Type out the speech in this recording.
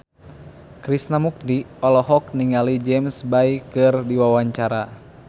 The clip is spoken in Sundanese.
Krishna Mukti olohok ningali James Bay keur diwawancara